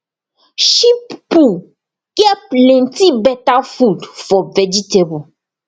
sheep poo get plenty better food for vegetable